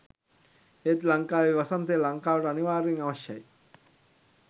ඒත් ලංකාවේ වසන්තය ලංකාවට අනිවාර්යයෙන් අවශ්‍යයි.